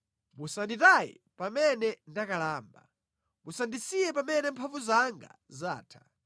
Musanditaye pamene ndakalamba; musandisiye pamene mphamvu zanga zatha.